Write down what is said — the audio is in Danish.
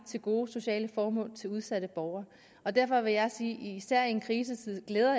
til gode sociale formål til udsatte borgere og derfor vil jeg sige især i en krisetid glæder